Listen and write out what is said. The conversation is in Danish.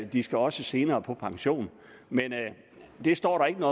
de skal også senere på pension det står der ikke